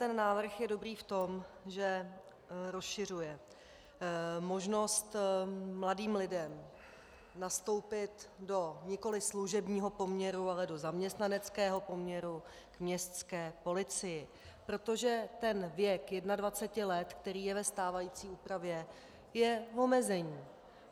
Tento návrh je dobrý v tom, že rozšiřuje možnost mladým lidem nastoupit do nikoli služebního poměru, ale do zaměstnaneckého poměru k městské policii, protože ten věk 21 let, který je ve stávající úpravě, je omezení.